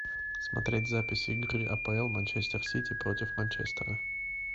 смотреть запись игры апл манчестер сити против манчестера